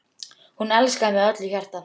Hún elskaði mig af öllu hjarta.